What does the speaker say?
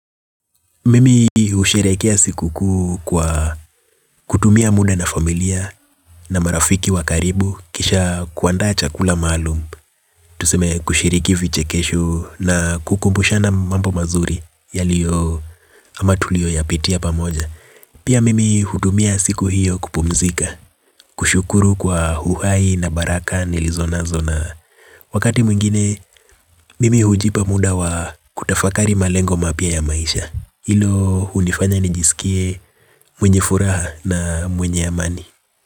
Mimi husherekea siku kuu kwa kutumia muda na familia na marafiki wa karibu kisha kuandaa chakula maalum. Tuseme kushiriki vichekesho na kukumbushana mambo mazuri yaliyo ama tuliyoyapitia pamoja. Pia mimi hudumia siku hiyo kupumzika. Kushukuru kwa uhai na baraka nilizo nazo na wakati mwingine, mimi hujipa muda wa kutafakari malengo mapya ya maisha. Hilo hunifanya nijisikie mwenye furaha na mwenye amani.